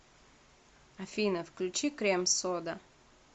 афина включи крем сода